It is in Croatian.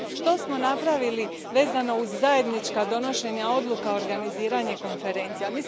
Što smo napravili vezano uz zajednička donošenja odluka, organiziranja konferencija?